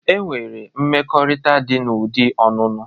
E nwere mmekọrịta dị na ụdi ọnụnụ.